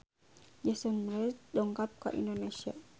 Jason Mraz dongkap ka Indonesia